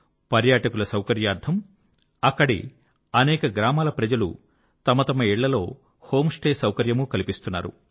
పర్యాటకుల సౌకర్యార్థం అక్కడి అనేక గ్రామాల ప్రజలు తమ తమ ఇళ్ళల్లో హోమ్ స్టే సౌకర్యమూ కల్పిస్తున్నారు